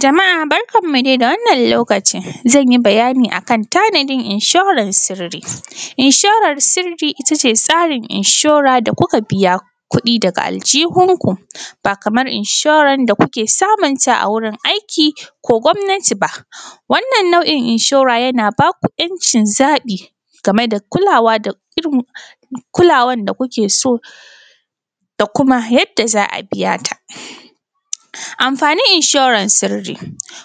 Jama’a barkanmu dai da wannan lokacin. Zan yi bayani a kan tanadin inshorar sirri. Inshorar sirri ita ce tsarin inshora da kuka biya kuɗi daga aljihunku, ba kamar inshoran da kuke samunta a wurin aiki ko gwamnati ba. Wannan nau’in inshora yana ba ku ‘yancin zaɓi game da kulawa da irin kulawan da kuke so da kuma yadda za a biya ta. Amfanin inshorar sirri: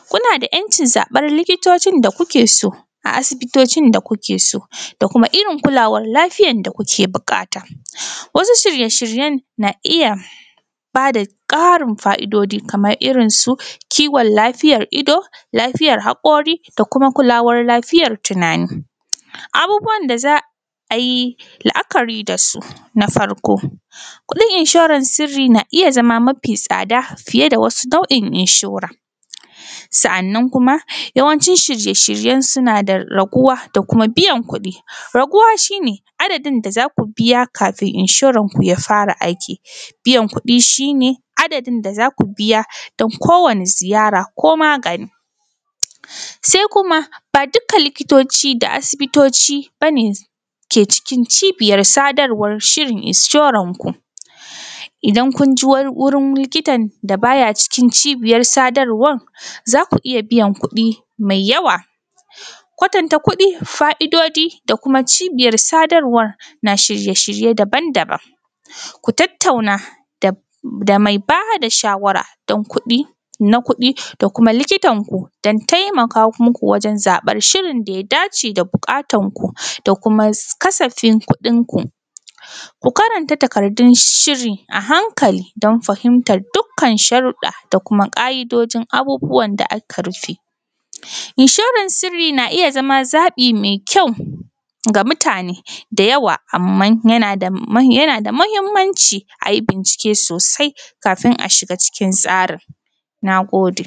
kuna da ‘yancin zaɓar likitocin da kuke so a asibitocin da kuke so da kuma irin kulawar lafiyan da kuke buƙata. Wasu shirye shiryen na iya ba da ƙarin fa’idoji kamar irin su kiwon lafiyar ido, lafiyar haƙori da kuma kulawar lafiyar tunani. Abubuwan da za a yi la’akari da su:na farko, kuɗin inshorar sirri na iya zama mafi tsada fiye da wasu nau’in inshora,, sa’annan kuma yawancin shirye shiryensu suna da raguwa da kuma biyan kuɗi. raguwa shi ne, adadin da za ku biya kafin inshoranku ya fara aiki. Biyan kuɗi shi ne, adadin da za ku biya don kowane ziyara ko magani. Sai kuma ba dukkan likitoci da asibitoci ba ne ke cikin cibiyar sadarwar shirin inshorarku. Idan kun je wurin likitan da ba ya cikin cibiyar sadarwan, za ku iya biyan kuɗi mai yawa. Kwatanta kuɗi, fa’idoji da kuma cibiyar sadarwar na shirye shirye daban daban. Ku tattauna da mai ba da shawara don kuɗi, na kuɗi da kuma likitanku don taimaka muku wajen zaɓar shirin da ya dace da buƙatanku da kuma kasafin kuɗinku. Ku karanta takardun shiri a hankali don fahimtar dukkan sharuɗɗa da kuma ƙa’idojin abubuwan da aka rufe. Inshorar sirri na iya zama zaɓi mai kyau ga mutane da yawa amman yana da muhimmanci a yi bincike sosai kafin a shiga cikin tsarin. Na gode.